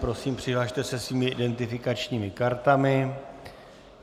Prosím, přihlaste se svými identifikačními kartami.